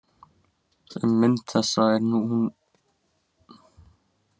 Um mynd þessa er nú næsta lítið vitað.